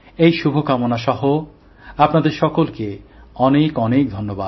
এই শুভকামনা নিয়েই আপনাদের সকলকে অনেক অনেক ধন্যবাদ